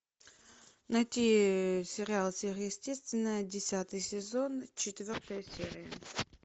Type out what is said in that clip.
найти сериал сверхъестественное десятый сезон четвертая серия